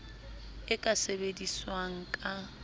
e ka sebedi swang ka